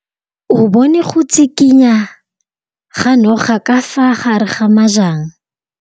O bone go tshikinya ga noga ka fa gare ga majang.